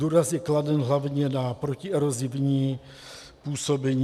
Důraz je kladen hlavně na protierozní ochranu.